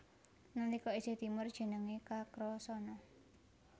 Nalika isih timur jenengé Kakrasana